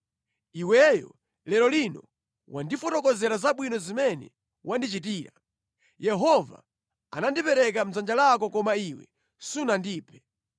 Iweyo lero lino wandifotokozera zabwino zimene wandichitira. Yehova anandipereka mʼdzanja lako koma iwe sunandiphe.